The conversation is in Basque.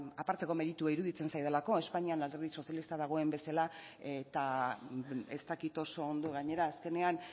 aparteko meritua iruditzen zaidalako espainian alderdi sozialista dagoen bezala eta ez dakit oso ondo gainera azkenean